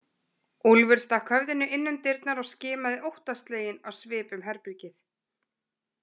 Úlfur stakk höfðinu inn um dyrnar og skimaði óttasleginn á svip um herbergið.